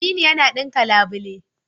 Aminu yana ɗinka labule.